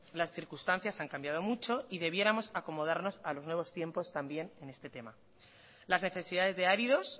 las circunstancias han cambiado mucho y debiéramos acomodarnos a los nuevos tiempos también en este tema las necesidades de áridos